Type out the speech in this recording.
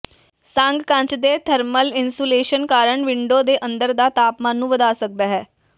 ਸੰਘ ਕੱਚ ਦੇ thermal insulation ਕਾਰਨ ਵਿੰਡੋ ਦੇ ਅੰਦਰ ਦਾ ਤਾਪਮਾਨ ਨੂੰ ਵਧਾ ਸਕਦਾ ਹੈ